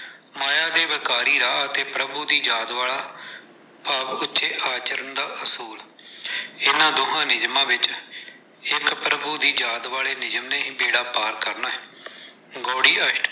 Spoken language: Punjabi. ਮਾਇਆ ਦੇ ਵਿਕਾਰੀ ਰਾਹ ਅਤੇ ਪ੍ਰਭੂ ਦੀ ਯਾਦ ਵਾਲਾ। ਭਾਵ ਉੱਚੇ ਆਚਰਣ ਦਾ ਅਸੂਲ, ਇਹਨਾਂ ਦੋਵਾਂ ਨਿਯਮਾਂ ਵਿੱਚ ਇੱਕ ਪ੍ਰਭੂ ਦੀ ਯਾਦ ਵਾਲੇ ਨਿਯਮ ਨੇ ਹੀ ਬੇੜਾ ਪਾਰ ਕਰਨਾ ਹੈ। ਗਉੜੀ ਅਸ਼ਟ।